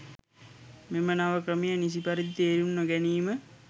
මෙම නව ක්‍රමය නිසි පරිදි තේරුම් නොගැනීම